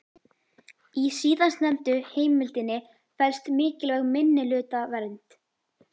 Í síðastnefndu heimildinni felst mikilvæg minnihlutavernd.